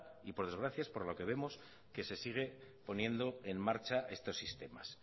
y por desgracia es por lo que vemos que se sigue poniendo en marcha estos sistemas